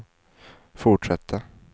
fortsätta